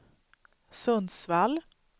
Sundsvall